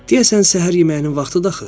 Deyəsən, səhər yeməyinin vaxtıdır axı.